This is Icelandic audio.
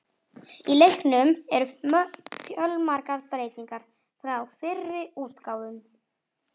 Í leiknum eru fjölmargar breytingar frá fyrri útgáfum.